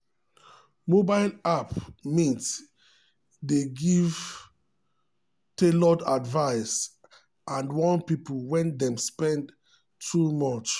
mobile app um mint dey give tailored advice and warn people when dem spend too much.